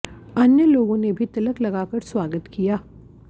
अन्य लोगों ने भी तिलक लगाकर स्वागत किया